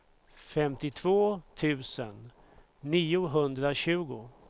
femtiotvå tusen niohundratjugo